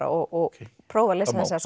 og prófa að lesa þessa